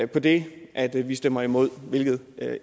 på det at vi stemmer imod hvilket